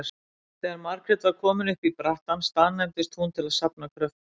Þegar Margrét var komin upp í brattann staðnæmdist hún til að safna kröftum.